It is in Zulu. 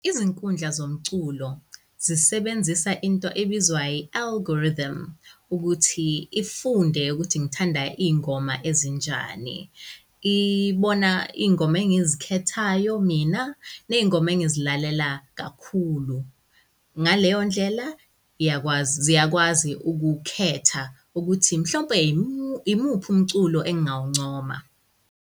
Izinkundla zomculo zisebenzisa into ebizwa i-algorithm ukuthi ifunde ukuthi ngithanda iy'ngoma ezinjani. Ibona iy'ngoma engizikhethayo mina ney'ngoma engizilalela kakhulu. Ngaleyondlela, iyakwazi ziyakwazi ukukhetha ukuthi mhlawumpe imuphi umculo engawuncoma.